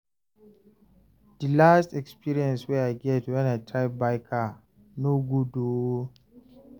di last experience wey I get wen I try buy car no good o